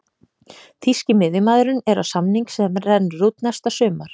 Þýski miðjumaðurinn er á samning sem rennur út næsta sumar.